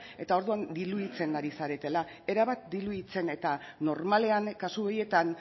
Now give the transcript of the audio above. eta orduan diluitzen ari zaretela erabat diluitzen eta normalean kasu horietan